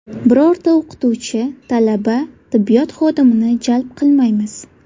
Birorta o‘qituvchi, talaba, tibbiyot xodimini jalb qilmaymiz.